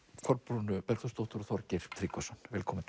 Kolbrúnu Bergþórsdóttur og Þorgeir Tryggvason velkomin